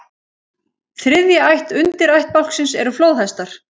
Þriðja ætt undirættbálksins eru flóðhestar.